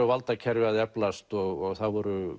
valdakerfið að eflast og það voru